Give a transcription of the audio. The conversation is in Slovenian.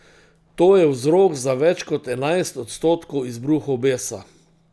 To je vzrok za več kot enajst odstotkov izbruhov besa.